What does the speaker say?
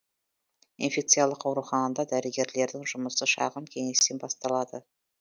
инфекциялық ауруханадағы дәрігерлердің жұмысы шағын кеңестен басталады